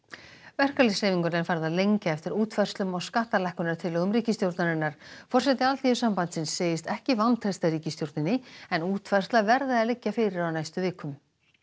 verkalýðshreyfinguna er farið að lengja eftir útfærslum á skattalækkunartillögum ríkisstjórnarinnar forseti Alþýðusambandsins segist ekki vantreysta ríkisstjórninni en útfærsla verði að liggja fyrir á næstu vikum